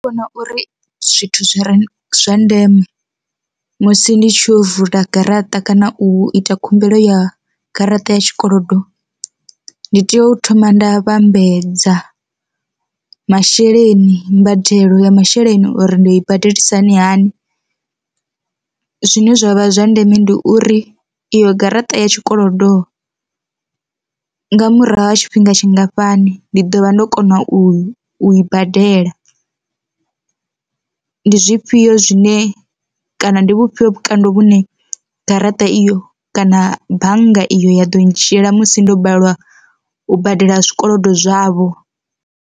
Ndi vhona uri zwithu zwi re zwa ndeme musi ndi tshi yo vula garaṱa kana u ita khumbelo ya garaṱa ya tshikolodo, ndi tea u thoma nda vhambedza masheleni mbadelo ya masheleni uri ndi i badelisa hani hani, zwine zwavha zwa ndeme ndi uri iyo garaṱa ya tshikolodo nga murahu ha tshifhinga tshingafhani ndi ḓo vha ndo kona u i u i badela. Ndi zwifhio zwine kana ndi vhufhio vhukando vhune garaṱa iyo kana bannga iyo ya ḓo ndzhiela musi ndo balelwa u badela zwikolodo zwavho.